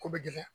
Ko bɛ gɛlɛ